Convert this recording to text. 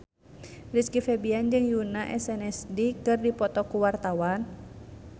Rizky Febian jeung Yoona SNSD keur dipoto ku wartawan